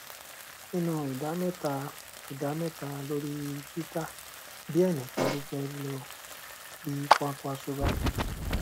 nínú ìdá mẹta ìdá mẹta lórí twitter diẹ nìkan ló fẹ lọ bí kwakwanso bá jù